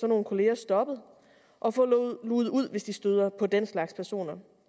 nogle kolleger stoppet og få luget ud hvis de støder på den slags personer